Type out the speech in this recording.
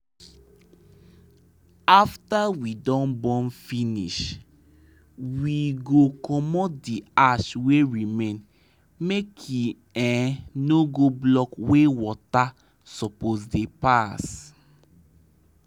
after we don burn finish we go comot the ash wey remain make e no go block where water suppose dey pass